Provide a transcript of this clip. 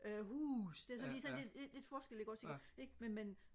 øh hus det er sådan lige lidt lidt forskel ikke også ikke men men